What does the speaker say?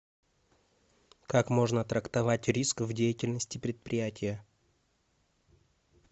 как можно трактовать риск в деятельности предприятия